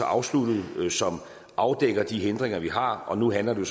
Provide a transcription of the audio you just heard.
afsluttet som afdækker de hindringer vi har og nu handler det